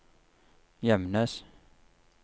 Gjemnes